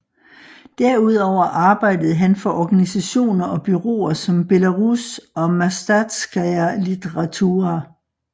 Derudover arbejdede han for organisationer og bureauer som Belarus og Mastatskaja Litaratura